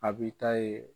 A b'i ta ye